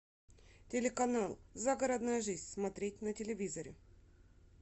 телеканал загородная жизнь смотреть на телевизоре